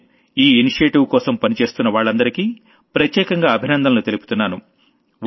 నేను ఈ ఇనిషియేటివ్ కోసం పనిచేస్తున్నవాళ్లందరికీ ప్రత్యేకంగా అభినందనలు తెలుపుతున్నాను